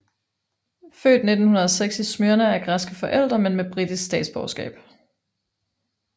Født 1906 i Smyrna af græske forældre men med britisk statsborgerskab